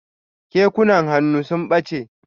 Kekunan hannu sun ɓache.